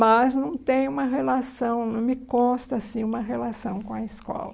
Mas não tem uma relação, não me consta, assim, uma relação com a escola.